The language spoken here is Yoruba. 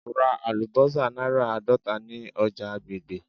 Ra alubosa naira aadota ni oja agbegbe.